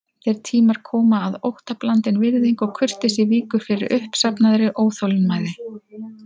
Þeir tímar koma að óttablandin virðing og kurteisi víkur fyrir uppsafnaðri óþolinmæði.